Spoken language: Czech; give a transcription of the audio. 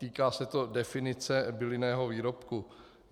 Týká se to definice bylinného výrobku.